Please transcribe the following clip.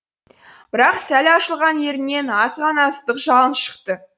бірақ сәл ашылған ернінен аз ғана ыстық жалын шықты